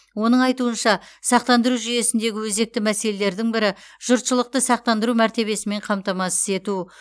оның айтуынша сақтандыру жүйесіндегі өзекті мәселелердің бірі жұртшылықты сақтандыру мәртебесімен қамтамасыз ету